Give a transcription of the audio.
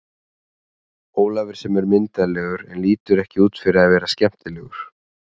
Ólafur sem er myndarlegur en lítur ekki út fyrir að vera skemmtilegur.